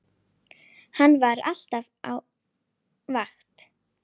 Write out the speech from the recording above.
Hann var alltaf á vakt.